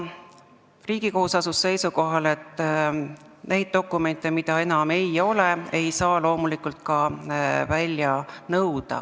Riigikohus on asunud seisukohale, et neid dokumente, mida enam ei ole, ei saa loomulikult ka välja nõuda.